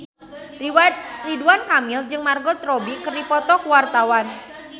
Ridwan Kamil jeung Margot Robbie keur dipoto ku wartawan